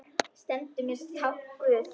Sendu mér tákn guð.